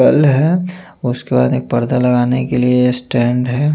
कल है उसके बाद एक पर्दा लगाने के लिए एक स्टैंड है।